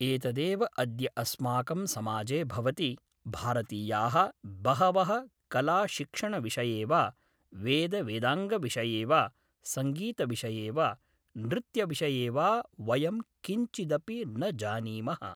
एतदेव अद्य अस्माकं समाजे भवति भारतीयाः बहवः कलाशिक्षणविषये वा वेदवेदाङ्गविषये वा संगीतविषये वा नृत्यविषये वा वयं किंचिदपि न जानीमः